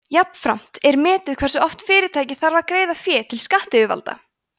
jafnframt er metið hversu oft fyrirtækið þarf að greiða fé til skattayfirvalda